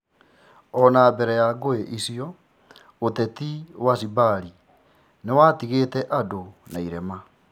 Ona-mbere ya ngũĩ icio, thiatha cia Zimbari nĩciatigĩte andũ na irema.